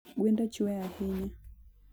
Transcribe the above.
Gwenda chwee sana